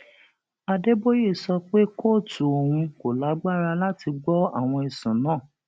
adéboye sọ pé kóòtù òun kò lágbára láti gbọ àwọn ẹsùn náà